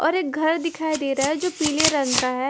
और एक घर दिखाई दे रहा है जो पीले रंग का है।